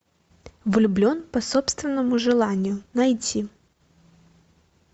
влюблен по собственному желанию найти